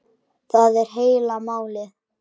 Það er heila málið!